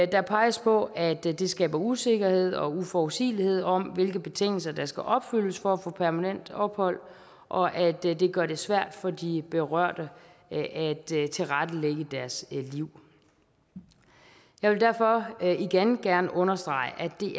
der peges på at det skaber usikkerhed og uforudsigelighed om hvilke betingelser der skal opfyldes for at få permanent ophold og at det det gør det svært for de berørte at at tilrettelægge deres liv jeg vil derfor igen gerne understrege at det